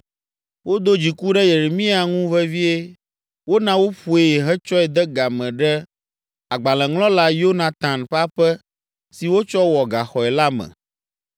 Wodo dziku ɖe Yeremia ŋu vevie, wona woƒoe hetsɔe de ga me ɖe agbalẽŋlɔla Yonatan ƒe aƒe si wotsɔ wɔ gaxɔe la me.